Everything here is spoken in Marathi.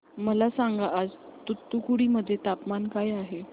मला सांगा आज तूतुकुडी मध्ये तापमान काय आहे